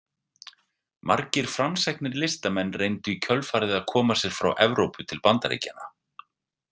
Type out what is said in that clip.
Margir framsæknir listamenn reyndu í kjölfarið að koma sér frá Evrópu til Bandaríkjanna.